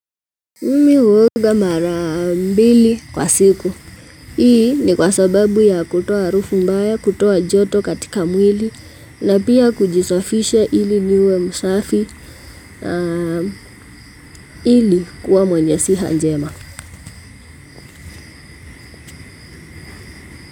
Mimi uoga marambili kwa siku. Hii ni kwa sababu ya kutoa harufu mbaya, kutoa joto katika mwili na pia kujisofisha ili niwe musafi ili kuwa mwenye siha njema.